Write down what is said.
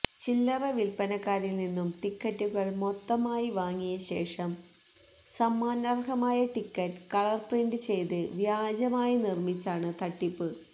ചില്ലറ വിൽപ്പനക്കാരിൽ നിന്നും ടിക്കറ്റുകൾ മൊത്തമായി വാങ്ങിയ ശേഷം സമ്മാനർഹമായ ടിക്കറ്റ് കളർ പ്രിന്റ് ചെയ്ത് വ്യാജമായി നിർമ്മിച്ചാണ് തട്ടിപ്പ്